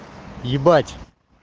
ебать